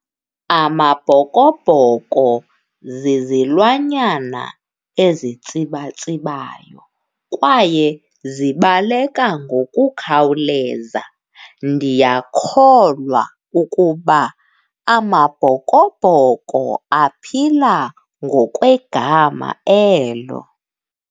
Amabhokobhoko zizilwanyana ezitsibatsibayo kwaye zibaleka ngokukhawuleza. Ndiyakholwa ukuba Amabhokobhoko aphila ngokwegama elo.